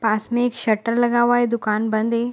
पास में एक शटर लगा हुआ है दुकान बंद है।